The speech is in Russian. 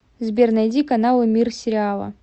сбер найди каналы мир сериала